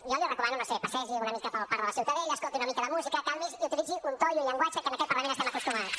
jo li recomano no ho sé passegi una mica pel parc de la ciutadella escolti una mica de música calmi’s i utilitzi un to i un llenguatge a què en aquest parlament estem acostumats